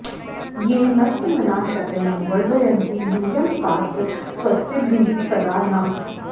ये न॒स्त्मना॑ श॒तिनो॑ व॒र्धय॑न्ति यू॒यं पा॑त स्व॒स्तिभिः॒ सदा॑ नः